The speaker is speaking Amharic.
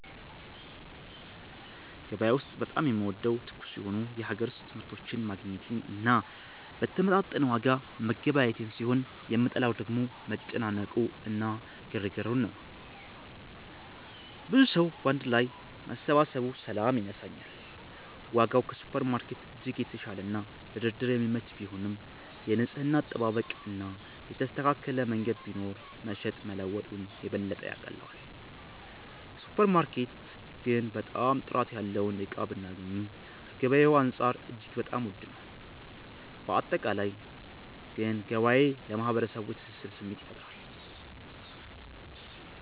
ገበያ ውስጥ በጣም የምወደው ትኩስ የሆኑ የሀገር ውስጥ ምርቶችን ማግኘቴን እና በተመጣጠነ ዋጋ መገበያየቴን ሲሆን የምጠላው ደግሞ መጨናነቁ እና ግርግሩን ነው። ብዙ ሰዉ ባንድ ላይ መሰባሰቡ ሰላም ይነሳኛል። ዋጋው ከሱፐርማርኬት በእጅጉ የተሻለና ለድርድር የሚመች ቢሆንም፣ የንጽህና አጠባበቅ እና የተስተካከለ መንገድ ቢኖር መሸጥ መለወጡን የበለጠ ያቀለዋል። ሱፐር ማርኬት ግን በጣም ጥራት ያለውን እቃ ብናገኚም ከገበያዉ አንፃር እጅግ በጣም ዉድ ነው። ባጠቃላይ ግን ገበያ ለማህበረሰቡ የትስስር ስሜት ይፈጥራል።